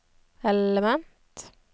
element